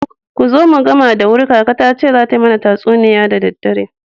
Kuzo mu gama da wuri kaka tace zata mana tatsuniya da daddare.